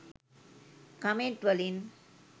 Comment වලින්.